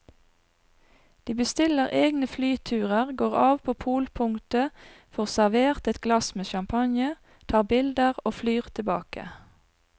De bestiller egne flyturer, går av på polpunktet, får servert et glass med champagne, tar bilder og flyr tilbake.